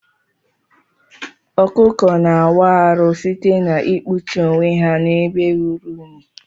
Ọkụkọ na awu arụ site na ikpụchi onwe ha na ebe ruru inyi.